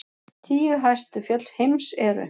Tíu hæstu fjöll heims eru: